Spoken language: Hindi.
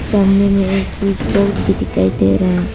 सामने में एक स्विच बॉक्स भी दिखाई दे रहा है।